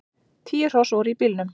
Tíu hross voru í bílnum.